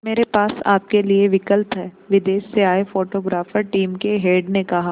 मेरे पास आपके लिए विकल्प है विदेश से आए फोटोग्राफर टीम के हेड ने कहा